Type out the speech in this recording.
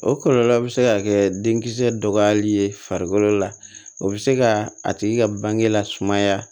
O kɔlɔlɔ be se ka kɛ denkisɛ dɔgɔyali ye farikolo la o be se ka a tigi ka bange lasumaya